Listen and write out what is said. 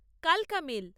কালকা মেল্